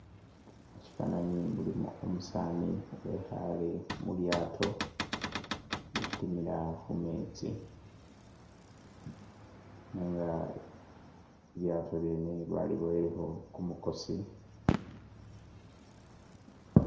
Musyifwananyi mulimu umusaani wekhaale mu lyaato litimila khu meetsi nenga lilyaato lyene bakiboyilekho kumukosi.